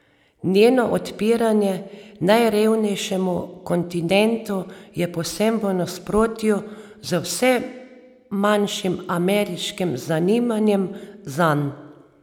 Njeno odpiranje najrevnejšemu kontinentu je povsem v nasprotju z vse manjšim ameriškim zanimanjem zanj.